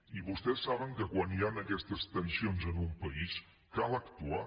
i vostès saben que quan hi han aquestes tensions en un país cal actuar